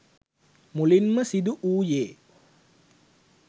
මුලින්ම සිදු වූයේ